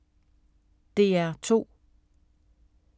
DR2